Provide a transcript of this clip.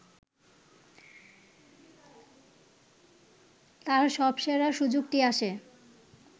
তাঁর সবসেরা সুযোগটি আসে